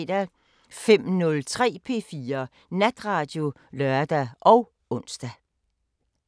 05:03: P4 Natradio (lør og ons)